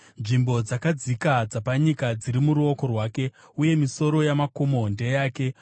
Nzvimbo dzakadzika dzapanyika dziri muruoko rwake, uye misoro yamakomo ndeyake.